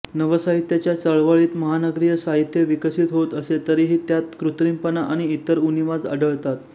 नवसाहित्याच्या चळवळीत महानगरीय साहीत्य विकसीत होत असे तरी ही त्यात कृत्रीमपणा आणि इतर उणीवा आढळतात